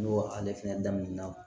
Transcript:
N'o ale fɛnɛ daminɛna